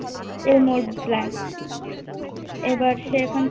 Elmore blank এবার সে ওখানে